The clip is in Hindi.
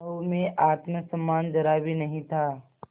बहू में आत्म सम्मान जरा भी नहीं था